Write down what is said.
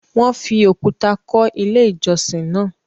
Wọ́n fi òkúta kọ́ Ilé-ìjọsìn náà.